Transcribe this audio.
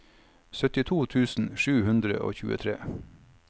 syttito tusen sju hundre og tjuetre